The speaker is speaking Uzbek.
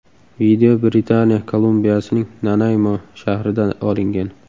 Video Britaniya Kolumbiyasining Nanaymo shahrida olingan.